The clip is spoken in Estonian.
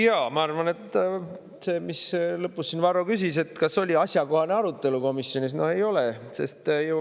Jaa, ma arvan, et sellele, mida Varro lõpus küsis, et kas oli asjakohane arutelu komisjonis, no ei olnud.